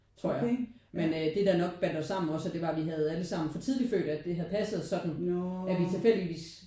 Tror jeg men øh det der nok bandt os sammen også det var at vi havde alle 3 for tidlig fødte og det havde passet sådan at vi tilfældigvis